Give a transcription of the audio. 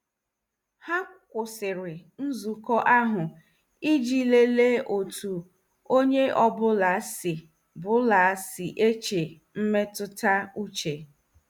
Ha kwụsịrị nzukọ ahụ iji lelee otu onye ọ bụla si bụla si eche mmetụta uche.